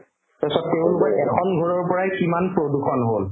তাৰপিছত তেওঁলোকৰ এখন ঘৰৰ পৰাই কিমান প্ৰদূষণ হ'ল